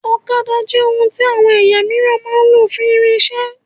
Ọ̀kadà jẹ ohun tí àwọn ẹ̀yà míìràn máa ń lò fún irinṣẹ